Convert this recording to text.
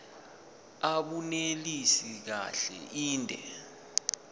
abunelisi kahle inde